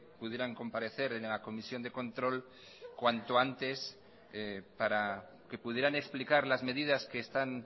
pudieran comparecer en la comisión de control cuanto antes para que pudieran explicar las medidas que están